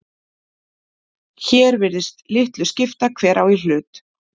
Hér virðist litlu skipta hver á í hlut.